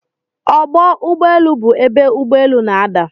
Ọgbọ ụgbọelu bụ ebe ụgbọ elu n'ada.